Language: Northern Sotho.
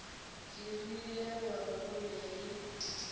dirile gore go be le